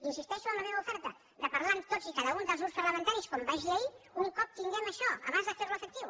insisteixo en la meva oferta de parlar amb tots i cada un dels grups parlamentaris com vaig dir ahir un cop tinguem això abans de fer ho efectiu